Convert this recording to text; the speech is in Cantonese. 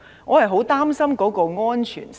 我是很擔心安全性的。